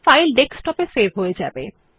file ডেস্কটপে save হয়ে যাবে